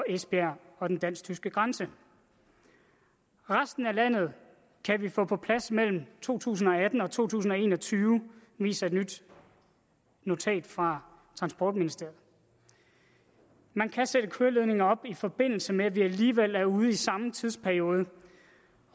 esbjerg og den dansk tyske grænse resten af landet kan vi få på plads mellem to tusind og atten og to tusind og en og tyve viser et nyt notat fra transportministeriet man kan sætte køreledninger op i forbindelse med at vi alligevel er ude i samme tidsperiode